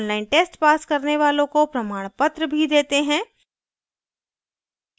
online test pass करने वालों को प्रमाणपत्र भी देते हैं